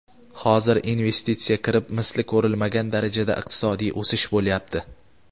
hozir investitsiya kirib misli ko‘rilmagan darajada iqtisodiy o‘sish bo‘lyapti.